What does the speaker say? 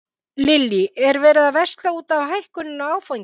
Lillý: Er verið að versla út af hækkuninni á áfengi?